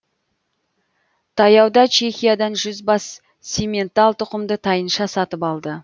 таяуда чехиядан жүз бас симментал тұқымды тайынша сатып алды